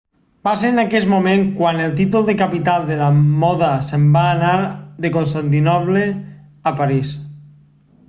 va ser en aquest moment quan el títol de capital de la moda se'n va anar de constantinoble a parís